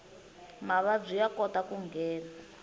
mavabyi ya kota ku nghena